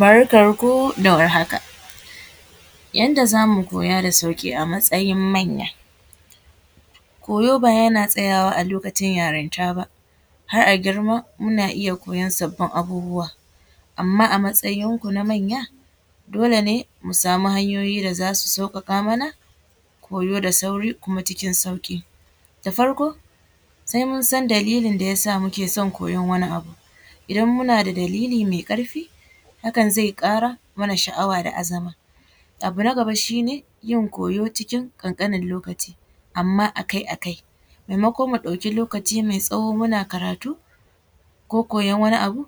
Barkar ku da warhaka. Yanda za mu koya da sauƙi a matsayin manya. Koyo ba yana tsayawa a lokacin yarinta ba, har a girma muna iya koyon sabbin abubuwa amma a matsayin ku na manya dole ne mu samu hanyoyi da za su sauƙaƙa mana koyo da sauri kuma cikin sauƙi. Da farko sai mun san dalilin da ya sa muke son koyon wani abu, idan muna da dalili mai ƙarfi hakan zai ƙara mana sha’awa da azama. Abu na gaba shine yin koyo cikin ƙanƙanen lokaci amma akai-akai maimakon mu ɗauki lokaci mai tsawo muna karatu ko koyon wani abu,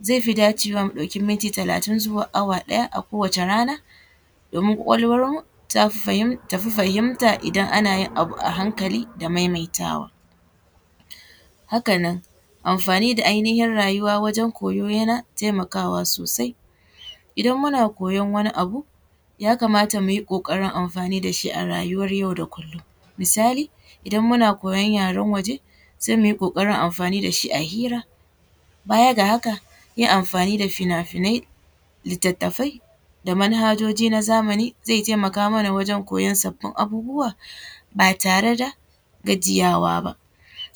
zai fi dacewa mu ɗauki minti talatin zuwa awa ɗaya a kowace rana domin ƙwaƙwalwarmu tafi fahimta idan ana yin abu a hankali da kuma maimaitawa. Haka nan amfani da ainihin rayuwa wajen koyo yana taimakawa sosai. Idan muna koyon wani abu, ya kamata mu yi ƙoƙarin amfani da shi a rayuwar yau da kullum misali, idan muna koyon yaren waje sai muyi ƙoƙarin amfani da shi a hira. Baya ga haka yin anfani da fina-finai, littattafai da manhajoji na zamani zai taimaka mana wajen koyon sabbin abubuwa ba tare da gajiyawa ba.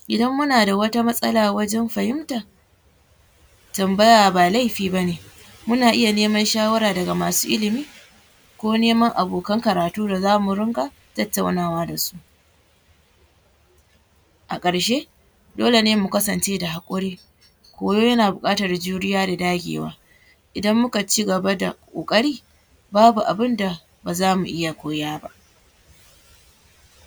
Idan muna da wata matsala wajen fahimta, tambaya ba laifi bane muna iya nema shawara daga masu ilimi ko neman abokan karatu da za mu ringa tattaunawa da su. A ƙarshe dole ne mu kasance da haƙuri, koyo yana buƙatar juriya da dagewa idan muka cigaba da ƙoƙari, babu abin da ba za mu iya koya ba.